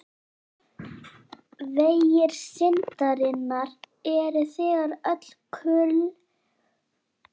Vegir syndarinnar eru þegar öll kurl koma til grafar óútreiknanlegir.